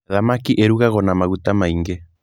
Thamaki ĩrugagwo na maguta maingĩ.